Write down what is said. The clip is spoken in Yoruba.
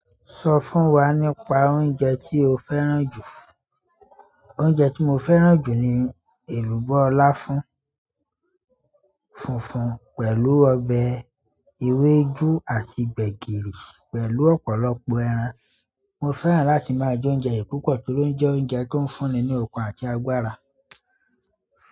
Sọ fún wa nípa oúnjẹ tí o fẹ́ràn jù. Oúnjẹ tí mo fẹ́ràn jù ni èlùbọ́ láfún funfun pẹ̀lú ọbẹ̀ ewédú àti gbẹ̀gìrì pẹ̀lú ọ̀pọ̀lọpọ̀ ẹran. Mo fẹ́ràn láti máa jẹ oúnjẹ yìí púpọ̀ nítorí o jẹ́ oúnjẹ tó ń fúnni ní okun àti agbára.